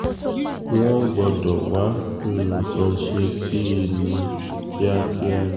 wọ́n gbọ́dọ̀ wá nǹkan ṣe sí i ní kíákíá ni